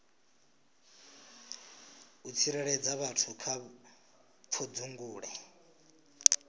u tsireledza vhathu kha pfudzungule